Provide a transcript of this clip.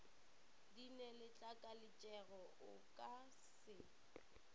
di neletlakalatšego o ka se